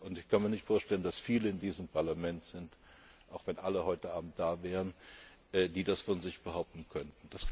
Ich kann mir nicht vorstellen, dass es viele Mitglieder in diesem Parlament gibt, auch wenn alle heute Abend da wären, die das von sich behaupten könnten.